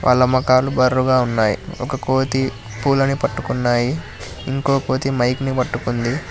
వాళ్ల మొఖాలు బర్రుగ గా ఉన్నాయి ఒక కోతి పూలని పట్టుకున్నాయి ఇంకో కోతి మైక్ ని పట్టుకుంది.